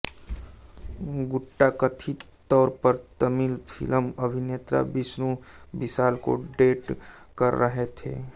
गुट्टा कथित तौर पर तमिल फिल्म अभिनेता विष्णु विशाल को डेट कर रहे थे